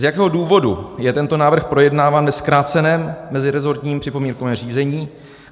Z jakého důvodu je tento návrh projednáván ve zkráceném mezirezortním připomínkovém řízení?